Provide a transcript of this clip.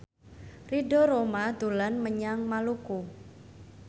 Ridho Roma dolan menyang Maluku